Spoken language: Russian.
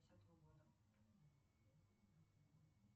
десятого года